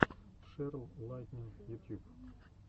шерл лайтнин ютюб